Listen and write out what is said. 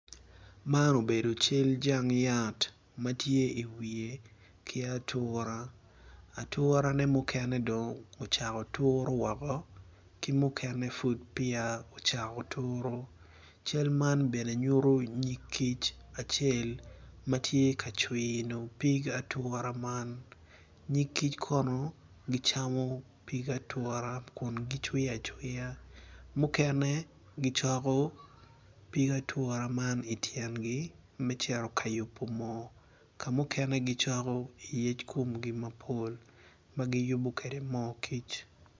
Man obedo cal jang yat Puc man obuto piny kun puc man kala kome tye macol nicuc kun opero ite tye ka winyo jami. Puc man bene tye ka neno pig ature man i tyengi me cito ka yubo mo ka yaka mukene gicoko i tyengi me cito ka yubo mo kic.